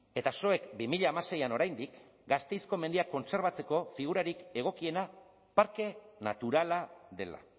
eta zuek bi mila hamaseian oraindik gasteizko mendiak kontserbatzeko figurarik egokiena parke naturala dela